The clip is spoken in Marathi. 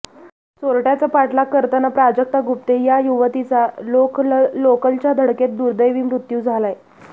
चोरट्याचा पाठलाग करताना प्राजक्ता गुप्ते या युवतीचा लोकलच्या धडकेत दुर्दैवी मूत्यू झालाय